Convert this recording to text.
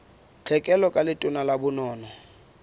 tlhekelo ka letona la bonono